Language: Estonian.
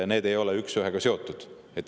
Need ei ole üksüheselt seotud.